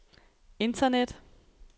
internet